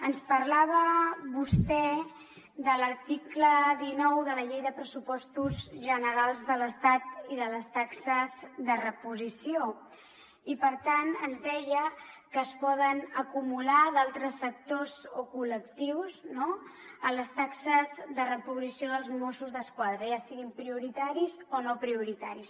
ens parlava vostè de l’article dinou de la llei de pressupostos generals de l’estat i de les taxes de reposició i per tant ens deia que es poden acumular d’altres sectors o col·lectius no a les taxes de reposició dels mossos d’esquadra ja siguin prioritaris o no prioritaris